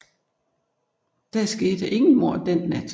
Der skete ingen mord den nat